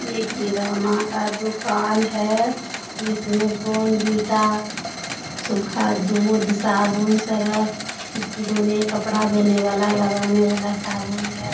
ये किराना का दुकान है। जिसमें बोर्नविटा सूखा दूध साबुन सरफ किचन धोने कपड़ा धोने वाला लगाने वाला साबुन है।